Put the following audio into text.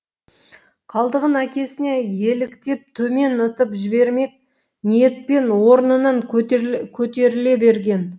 қалдығын әкесіне еліктеп төмен ытып жібермек ниетпен орнынан көтеріле берген